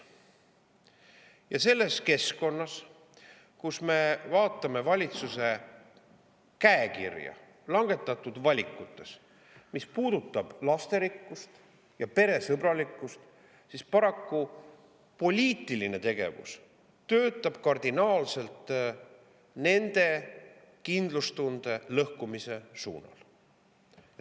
Ja selles keskkonnas, kus me vaatame valitsuse käekirja langetatud valikutes, mis puudutavad lasterikkust ja peresõbralikkust, paraku poliitiline tegevus töötab kardinaalselt nende kindlustunde lõhkumise suunal.